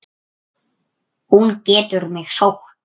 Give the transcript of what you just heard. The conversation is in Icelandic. Hún getur mig sótt.